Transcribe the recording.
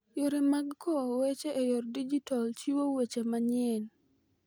Yore mag kowo weche e yor digital chiwo weche manyien.